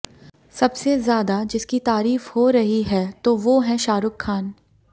सबसे ज्यादा जिसकी तारीफ हो रही है तो वो हैं शाहरुख खान